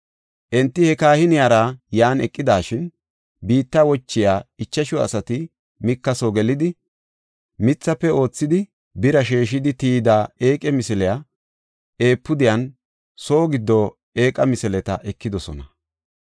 Enti he kahiniyara yan eqidashin, biitta wochiya ichashu asati Mika soo gelidi, mithafe oothidi, bira sheeshidi, tiyida eeqa misiliya, efuudiyanne soo giddo eeqa misileta ekidosona.